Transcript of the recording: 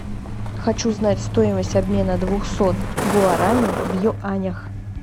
хочу знать стоимость обмена двухсот гуараней в юанях